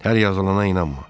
Hər yazılana inanma.